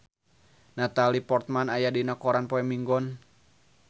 Natalie Portman aya dina koran poe Minggon